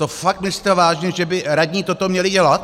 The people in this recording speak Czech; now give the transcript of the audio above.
To fakt myslíte vážně, že by radní toto měli dělat?